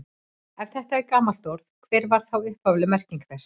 Ef þetta er gamalt orð, hver var þá upphafleg merking þess?